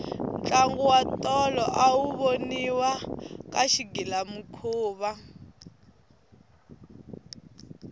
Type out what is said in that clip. ntlango wa tolo awu voniwa ka xigilamikhuva